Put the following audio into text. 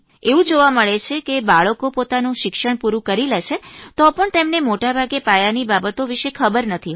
એવું જોવા મળે છે કે બાળકો પોતાનું શિક્ષણ પૂરૂંયે કરી લે છે તો પણ તેમને મોટાભાગે પાયાની બાબતો વિષે ખબર નથી હોતી